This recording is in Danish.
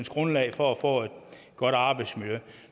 grundlag for at få et godt arbejdsmiljø